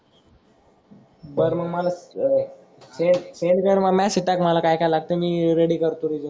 बर मग मला अह ते सेंड कर मला मेसेज टाक मला काय काय लागतंय ते मी रेडी करतो रिज्युम.